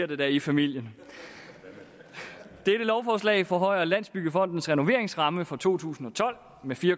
det bliver i familien dette lovforslag forhøjer landsbyggefondens renoveringsramme for to tusind og tolv med fire